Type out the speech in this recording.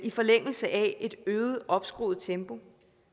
forlængelse af et øget opskruet tempo